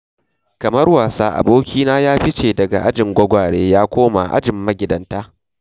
Kamar wasa, abokina ya fice daga ajin gwagware ya koma ajin magidanta.